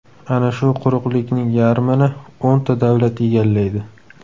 Ana shu quruqlikning yarmini o‘nta davlat egallaydi.